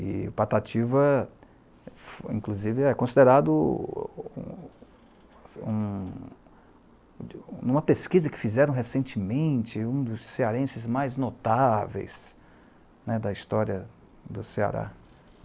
E o Patativa, inclusive, é considerado, um, em uma pesquisa que fizeram recentemente, um dos cearenses mais notáveis né, da história do Ceará.